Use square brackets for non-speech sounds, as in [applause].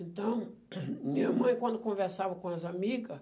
Então, [coughs] minha mãe, quando conversava com as amiga,